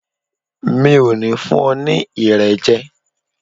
Mi ò ní fún ọ ní Irẹ̀ jẹ.